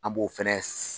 An b'o fɛnɛ